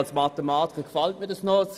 Als Mathematiker gefällt mir das.